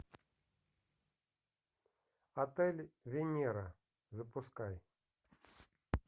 отель венера запускай